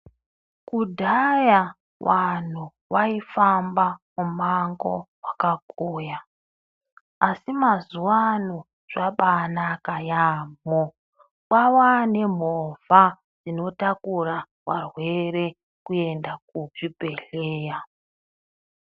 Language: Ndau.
Kudhaya vantu vaifamba mumango wakakuya, asi mazuva ano zvabaanaka yaamho. Kwavanemhovha inotakura varwere kuenda kuzvibhedhlera.